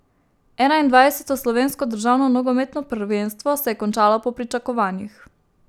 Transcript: Enaindvajseto slovensko državno nogometno prvenstvo se je končalo po pričakovanjih.